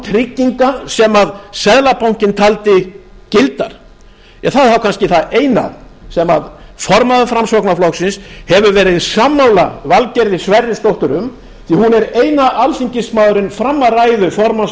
trygginga sem seðlabankinn taldi gildar það er þá kannski það eina sem formaður framsóknarflokksins hefur verið sammála valgerði sverrisdóttur um því að hún er eini alþingismaðurinn fram að ræðu formanns